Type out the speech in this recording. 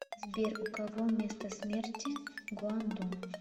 сбер у кого место смерти гуандун